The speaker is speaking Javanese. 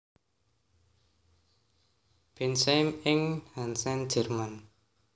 Bensheim ing Hessen Jerman